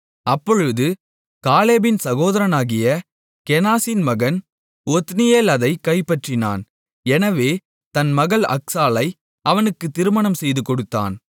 அப்பொழுது காலேபின் சகோதரனாகிய கேனாசின் மகன் ஒத்னியேல் அதைக் கைப்பற்றினான் எனவே தன் மகள் அக்சாளை அவனுக்குத் திருமணம் செய்துகொடுத்தான்